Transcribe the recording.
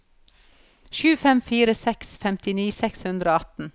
sju fem fire seks femtini seks hundre og atten